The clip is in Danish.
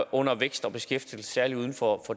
under vækst og beskæftigelse særlig uden for